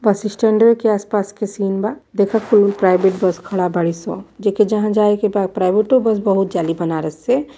बस स्टैंडवे के आसपास क सीन बा देखअ कुल प्राइवेट बस खड़ा बारिसन जे के जहां जाए के बा प्राइवेट वो बस बहुत जाली बनारस से --